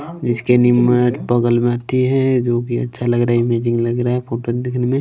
जिसके नीम बगल में हाथी है जो की अच्छा लग रहा है इमेजिंग लग रहा है फोटो दिखने में।